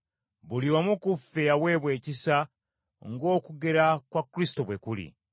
Buli omu ku ffe yaweebwa ekisa ng’okugera kwa Kristo bwe kuli.